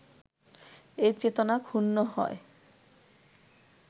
এ চেতনা ক্ষুণ্ণ হয়